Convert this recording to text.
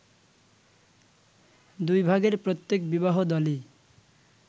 দুই ভাগের প্রত্যেক বিবাহদলই